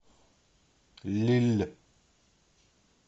лилль